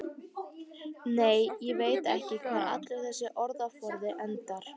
Nei, ég veit ekki hvar allur þessi orðaforði endar.